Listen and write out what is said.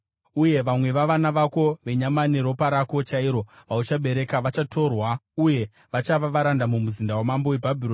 Uye vamwe vavana vako, venyama neropa rako chairo vauchabereka, vachatorwa uye vachava varanda mumuzinda wamambo weBhabhironi.”